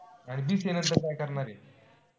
अन BCA नंतर काय करणारे?